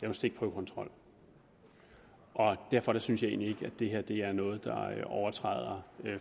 en stikprøvekontrol og derfor synes jeg egentlig ikke at det her er noget der overtræder